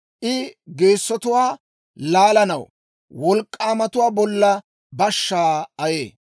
I geessotuwaa laalanaw wolk'k'aamatuwaa bolla bashshaa ayee.